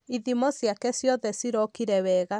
Ithimo ciake ciothe cirokire wega.